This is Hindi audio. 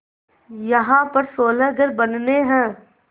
यहाँ पर सोलह घर बनने हैं